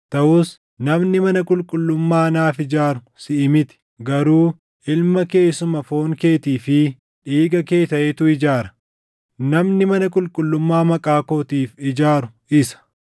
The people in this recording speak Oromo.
Taʼus namni mana qulqullummaa naaf ijaaru siʼi miti; garuu ilma kee isuma foon keetii fi dhiiga kee taʼetu ijaara; namni mana qulqullummaa Maqaa kootiif ijaaru isa.’